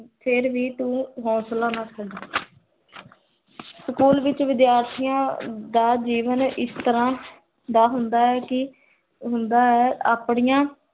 ਫੇਰ ਵੀ ਤੂੰ ਹੋਂਸਲਾ ਨਾ ਛੱਡ ਸਕੂਲ ਵਿਚ, ਵਿਦਿਆਰ੍ਥੀਆਂ ਦਾ ਜੀਵਨ, ਇਸ ਤਰਹ ਦਾ ਹੁੰਦਾ ਹੈ ਕੀ, ਆਪਣੀਆਂ